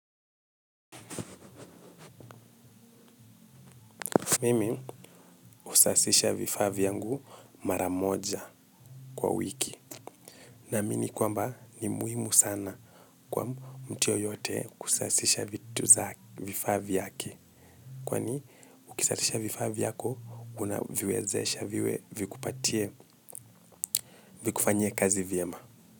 Mimi usasisha vifavi yangu maramoja kwa wiki. Na mini kwamba ni muhimu sana kwa mtu yoyote kusasisha vitu za vifa viyake. Kwani ukisatisha vifavi yako unaviwezesha viwe vikupatie vikufanyie kazi vyema.